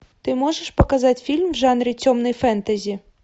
ты можешь показать фильм в жанре темный фэнтези